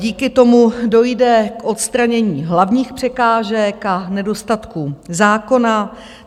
Díky tomu dojde k odstranění hlavních překážek a nedostatků zákona.